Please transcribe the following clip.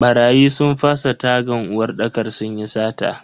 Barayi sun fasa tagan uwarɗakar sunyi sata.